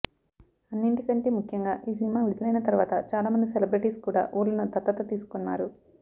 అన్నింటి కంటే ముఖ్యంగా ఈ సినిమా విడుదలైన తర్వాత చాలా మంది సెలబ్రిటీస్ కూడా ఊళ్లను దత్తత తీసుకున్నారు